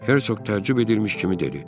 Hersoq tərcübə edilmiş kimi dedi.